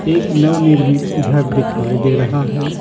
एक नव-निर्मित घर दिखाई दे रहा है।